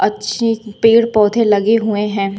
अच्छे पेड़ पौधे लगे हुए हैं।